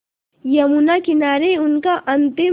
यमुना किनारे उनका अंतिम